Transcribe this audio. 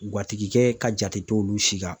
Guwatigikɛ ka jate tɛ olu si kan.